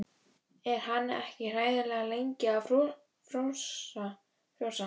Er hann ekki hræðilega lengi að frjósa?